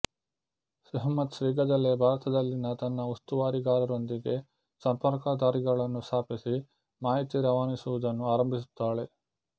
ಸೆಹ್ಮತ್ ಶೀಘ್ರದಲ್ಲೇ ಭಾರತದಲ್ಲಿನ ತನ್ನ ಉಸ್ತುವಾರಿಗಾರರೊಂದಿಗೆ ಸಂಪರ್ಕದಾರಿಗಳನ್ನು ಸ್ಥಾಪಿಸಿ ಮಾಹಿತಿ ರವಾನಿಸುವುದನ್ನು ಆರಂಭಿಸುತ್ತಾಳೆ